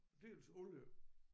Dels alle